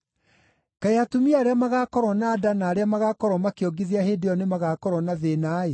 Kaĩ atumia arĩa magaakorwo na nda na arĩa magaakorwo makĩongithia hĩndĩ ĩyo nĩmagakorwo na thĩĩna-ĩ!